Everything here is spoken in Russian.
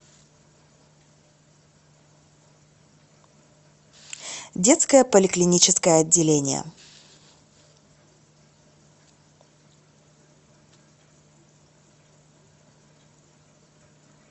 детское поликлиническое отделение